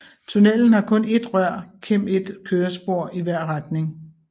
Tunnellen har kun ét rør kem et kørespor i hvert retning